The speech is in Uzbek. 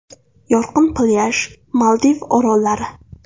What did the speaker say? Yorqin plyaj, Maldiv orollari.